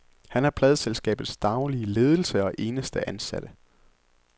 Han er pladeselskabets daglige ledelse og eneste ansatte.